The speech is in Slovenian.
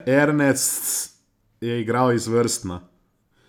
Ernests je igral izvrstno.